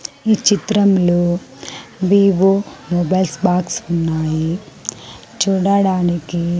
ఈ చిత్రంలో B O mobiles box ఉన్నాయి చూడడానికి.